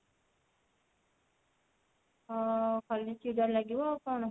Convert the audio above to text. ହଁ ଖାଲି ଚିଡା ଲାଗିବ ଆଉ କଣ